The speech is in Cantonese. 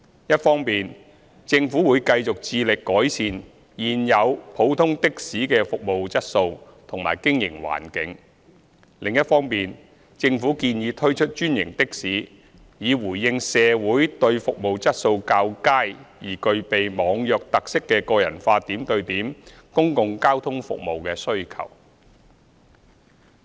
一方面，政府會繼續致力改善現有普通的士的服務質素及經營環境；另一方面，政府建議推出專營的士以回應社會上對服務質素較佳而具備"網約"特色的個人化點對點公共交通服務的需求。